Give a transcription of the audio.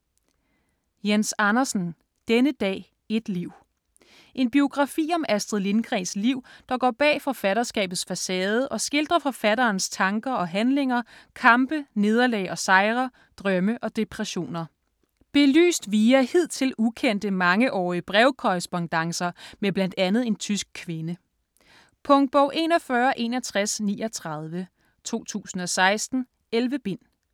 Andersen, Jens: Denne dag, et liv En biografi om Astrid Lindgrens liv der går bag forfatterskabets facade og skildrer forfatterens tanker og handlinger, kampe, nederlag og sejre, drømme og depressioner. Belyst via hidtil ukendte, mangeårige brevkorrespondancer med blandt andet en tysk kvinde. Punktbog 416139 2016. 11 bind.